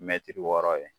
Mɛtiri wɔɔrɔ ye